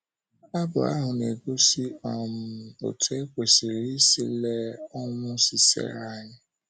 um Abụ ahụ na-egosi um otú e kwesịrị isi lee ọnwụ Sisera anya.